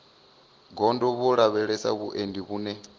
gondo vho lavhelesa vhuendi vhune